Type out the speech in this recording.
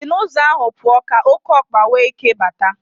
Si n'ụzọ ahụ pụọ, ka okeokpa nwee ike bata.